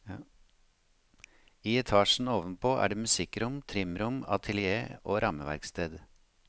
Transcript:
I etasjen ovenpå er det musikkrom, trimrom, atelier og rammeverksted.